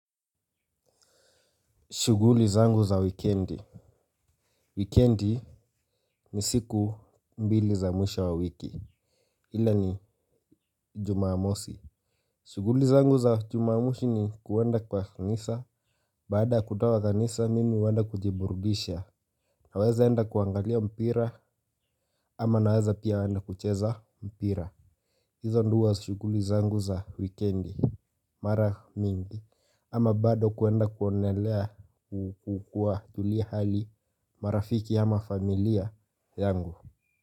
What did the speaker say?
Shughuli zangu za wikendi. Wikendi ni siku mbili za mwisho wa wiki. Ila ni jumamosi. Shughuli zangu za Jumamosi ni kuenda kwa kanisa, baada kutoka kwa kanisa mimi huenda kujiburudisha. Nawezaenda kuangalia mpira ama naweza pia enda kucheza mpira. Hizo ndio huwa shughuli zangu za wikendi. Mara mingi, ama bado kuenda kuonelea au kuwajulia hali marafiki ama familia yangu.